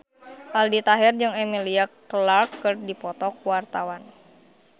Aldi Taher jeung Emilia Clarke keur dipoto ku wartawan